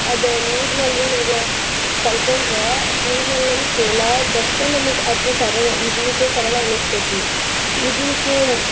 ಅದ ನೀರ್ನಲ್ಲಿ ನಾವ್ ಕಲಕೋಂಡ್ರ ನೀರ್ನಲ್ಲಿನೂ ತೇಲಾಡ್ದಸ್ಟ ಅದು ಸರಳ ಈಜುವಿಕೆ ಸರಳ್ ಅನ್ನಸ್ತೇತಿ ಈಜುವಿಕೆ.